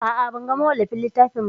A'a, ban ga mawallafin littafin ba.